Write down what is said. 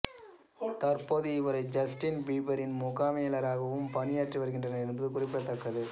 தற்போது இவரே ஜஸ்டின் பீபரின் முகாமையாளராகவும் பணியாற்றி வருகின்றார் என்பது குறிப்பிடத்தக்கது